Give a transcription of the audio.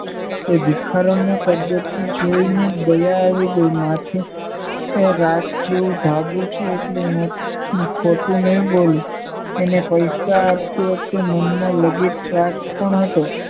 એ ભિખારણને કરગરતી જોઈને દયા આવી ગઇ માથે રાત જેવું ધાબો છે એટલે ખોટું નઈ બોલું એને પૈસા આપતી વખતે મનમાં લગીર સ્વાર્થ પણ હતો.